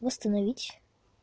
восстановить